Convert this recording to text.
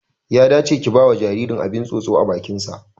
Ya dace ki bawa jaririn abin tsotso a bakin sa